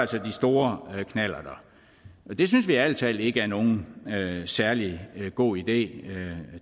de store knallerter det synes vi ærlig talt ikke er nogen særlig god idé